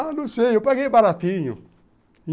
Ah, não sei, eu paguei baratinho.